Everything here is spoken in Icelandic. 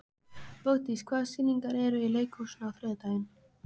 Bogdís, hvaða sýningar eru í leikhúsinu á þriðjudaginn?